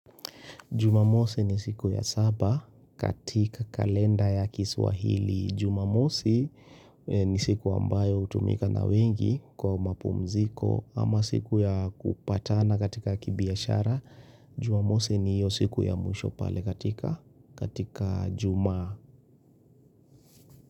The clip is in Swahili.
Jumamosi ni siku ya saba katika kalenda ya kiswahili. Jumamosi ni siku ambayo hutumika na wengi kwa mapumziko ama siku ya kupatana katika kibiashara. Jumamosi ni hiyo siku ya mwisho pale katika juma.